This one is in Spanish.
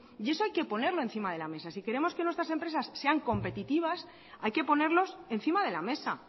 y eso hay que ponerlo encima de la mesa si queremos que nuestras empresas sean competitivas hay que ponerlos encima de la mesa